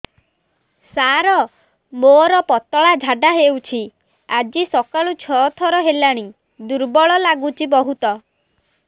ସାର ମୋର ପତଳା ଝାଡା ହେଉଛି ଆଜି ସକାଳୁ ଛଅ ଥର ହେଲାଣି ଦୁର୍ବଳ ଲାଗୁଚି ବହୁତ